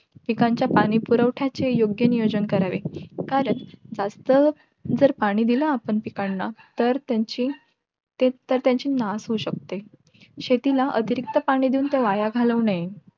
पिकाच्या पाणी पुरवठाची योग्य नियोजन करावे कारण वास्तव जर पाणी दिला पिकांना तर तेची त तेची नाश होऊ शकते शेतीला अतिरिक्त पाणी देऊन वाया घालवणे